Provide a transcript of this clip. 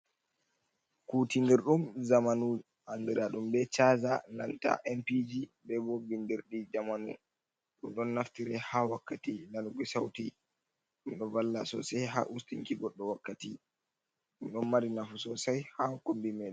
Kutinirɗum zamanu andira ɗum be chaza, nanta empiiji, be bo bindirdi jamanu. Ɗum don naftire ha wakkati nanuki sauti. Ɗum ɗo valla sosai ha ustinki goɗɗo wakkati. Ɗum ɗon mari nafu sosai ha kombi men.